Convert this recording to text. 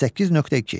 38.2.